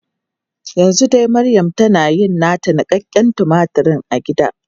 Yanzu dai maryam tana yin nata niƙaƙƙen tumatur a gida.